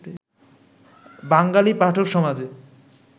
বাঙালি পাঠকসমাজে